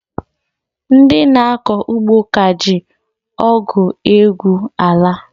Ndị na akọ ugbo ka ji ọgụ egwu ala